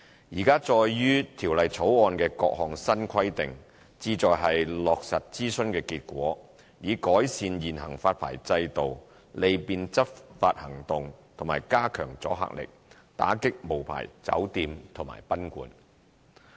現載於《條例草案》的各項新規定，旨在落實諮詢的結果，以改善現行發牌制度、利便執法行動及加強阻嚇力，打擊無牌酒店及賓館。